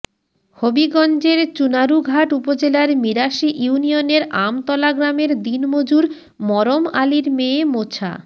হবিগঞ্জের চুনারুঘাট উপজেলার মিরাশী ইউনিয়নের আমতলা গ্রামের দিনমজুর মরম আলীর মেয়ে মোছা